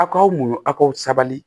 Aw ka muɲu aw sabali